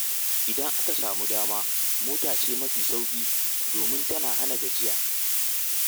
Idan aka samu dama, mota ce mafi sauƙi domin tana hana gajiya.